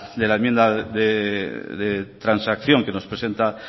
de la enmienda de transacción que nos presenta